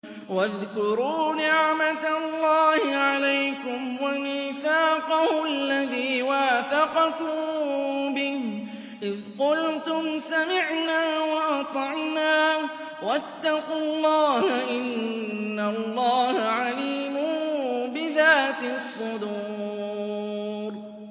وَاذْكُرُوا نِعْمَةَ اللَّهِ عَلَيْكُمْ وَمِيثَاقَهُ الَّذِي وَاثَقَكُم بِهِ إِذْ قُلْتُمْ سَمِعْنَا وَأَطَعْنَا ۖ وَاتَّقُوا اللَّهَ ۚ إِنَّ اللَّهَ عَلِيمٌ بِذَاتِ الصُّدُورِ